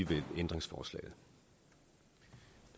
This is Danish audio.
det her ændringsforslag